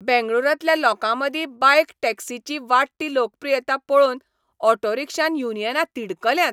बेंगळूरांतल्या लोकांमदीं बायक टॅक्सीची वाडटी लोकप्रियता पळोवन ऑटो रिक्षा युनियनां तिडकल्यांत .